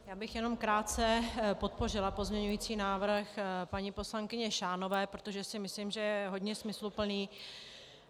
Já bych jenom krátce podpořila pozměňující návrh paní poslankyně Šánové, protože si myslím, že je hodně smysluplný.